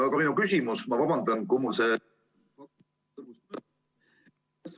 Aga minu küsimus, ma vabandan, kui mul see ......